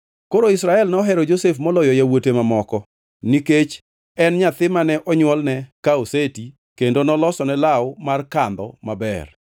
Koro Israel nohero Josef moloyo yawuote mamoko, nikech en nyathi mane onywolne ka oseti, kendo nolosone law mar kandho maber.